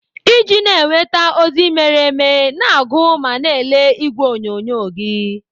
Iji na-enweta ozi mere eme, na-agụ ma na ele ìgwè onyonyo gị.